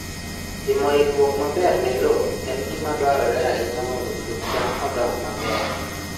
Timo ikruok maber ne lowo en gima dwarore ahinya mondo puoth cham odongi maber.